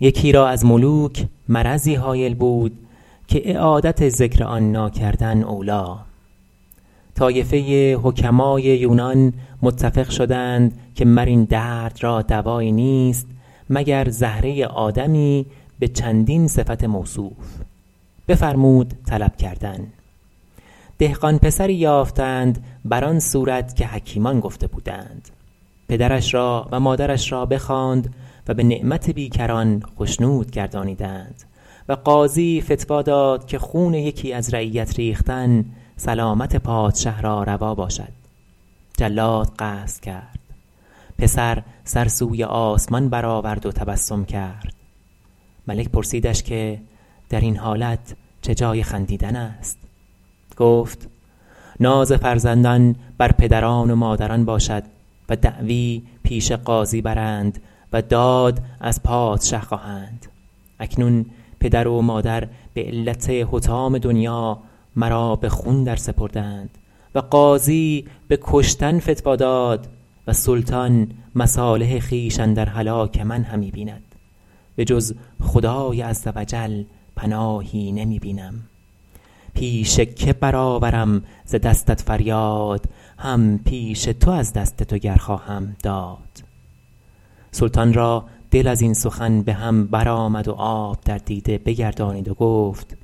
یکی را از ملوک مرضی هایل بود که اعادت ذکر آن ناکردن اولیٰ طایفه حکمای یونان متفق شدند که مر این درد را دوایی نیست مگر زهره آدمی به چندین صفت موصوف بفرمود طلب کردن دهقان پسری یافتند بر آن صورت که حکیمان گفته بودند پدرش را و مادرش را بخواند و به نعمت بیکران خشنود گردانیدند و قاضی فتویٰ داد که خون یکی از رعیت ریختن سلامت پادشه را روا باشد جلاد قصد کرد پسر سر سوی آسمان بر آورد و تبسم کرد ملک پرسیدش که در این حالت چه جای خندیدن است گفت ناز فرزندان بر پدران و مادران باشد و دعوی پیش قاضی برند و داد از پادشه خواهند اکنون پدر و مادر به علت حطام دنیا مرا به خون درسپردند و قاضی به کشتن فتویٰ داد و سلطان مصالح خویش اندر هلاک من همی بیند به جز خدای عزوجل پناهی نمی بینم پیش که بر آورم ز دستت فریاد هم پیش تو از دست تو گر خواهم داد سلطان را دل از این سخن به هم بر آمد و آب در دیده بگردانید و گفت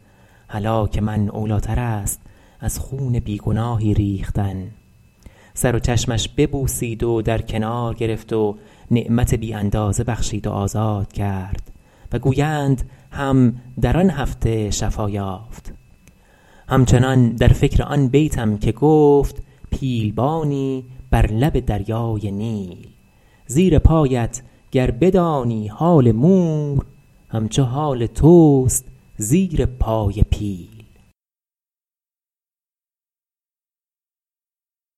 هلاک من اولیٰ تر است از خون بی گناهی ریختن سر و چشمش ببوسید و در کنار گرفت و نعمت بی اندازه بخشید و آزاد کرد و گویند هم در آن هفته شفا یافت هم چنان در فکر آن بیتم که گفت پیل بانی بر لب دریای نیل زیر پایت گر بدانی حال مور هم چو حال توست زیر پای پیل